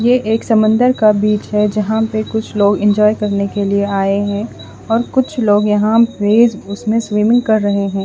ये एक समंदर का बिच है जहा पे कुछ लोग एन्जॉय करने के लिए आये है और कुछ लोग यहाँ पे उसमे स्विमिंग कर रहे है।